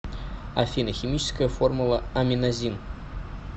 афина химическая формула аминазин